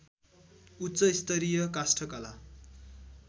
उच्च स्तरीय काष्ठकला